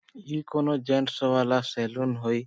ये कोनो जैंट्स वाला सेलून होइ।